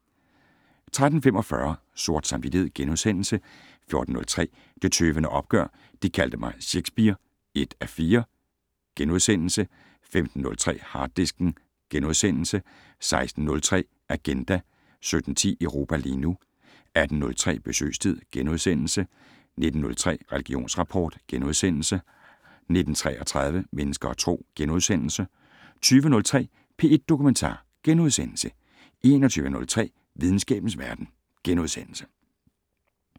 13:45: Sort samvittighed * 14:03: Det Tøvende Opgør: De kaldte mig Szekspir (1:4)* 15:03: Harddisken * 16:03: Agenda 17:10: Europa lige nu 18:03: Besøgstid * 19:03: Religionsrapport * 19:33: Mennesker og Tro * 20:03: P1 Dokumentar * 21:03: Videnskabens Verden *